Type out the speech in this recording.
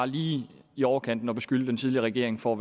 lige i overkanten at beskylde den tidligere regering for